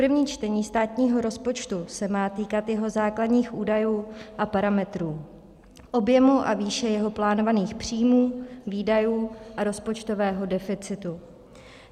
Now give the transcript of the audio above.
První čtení státního rozpočtu se má týkat jeho základních údajů a parametrů, objemu a výše jeho plánovaných příjmů, výdajů a rozpočtového deficitu.